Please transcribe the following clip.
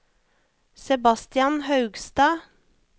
Sebastian Haugstad